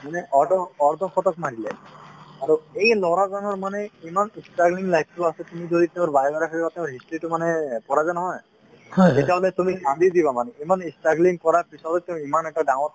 মানে অৰ্ধ অৰ্ধ শতক মাৰিলে আৰু এই ল'ৰা জনৰ মানে ইমান struggling life টো আছে , তুমি যদি তেওঁৰ biography ৰ কথা history তো মানে পঢ়া যে নহয় তেতিয়া হ'লে তুমি কান্দি দিবা মানে ইমান struggling কৰাৰ পিছতো তেওঁ ইমান এটা ডাঙৰ